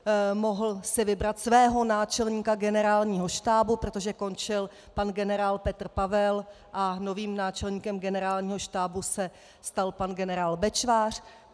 Mohl si vybrat svého náčelníka Generálního štábu, protože končil pan generál Petr Pavel a novým náčelníkem Generálního štábu se stal pan generál Bečvář.